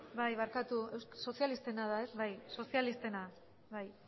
bai barkatu sozialistena da ez sozia listena bai